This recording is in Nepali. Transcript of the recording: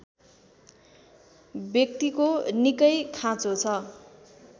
व्यक्तिको निकै खाँचो छ